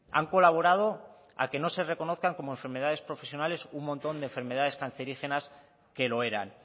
han colaborado a que no se reconozcan como enfermedades profesionales un montón de enfermedades cancerígenas que lo eran